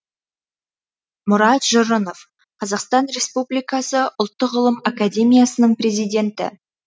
мұрат жұрынов қазақстан республикасы ұлттық ғылым академиясының президенті